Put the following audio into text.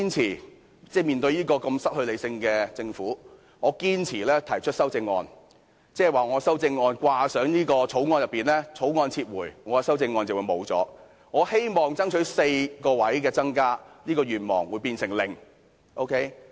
如果面對失去理性的政府，我仍堅持提出修正案，即是把我的修正案掛上《條例草案》，《條例草案》一旦被撤回，我的修正案也沒有了，我希望爭取增加4個座位的願望亦變成零。